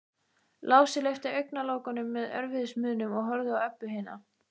Lási lyfti augnalokunum með erfiðismunum og horfði á Öbbu hina.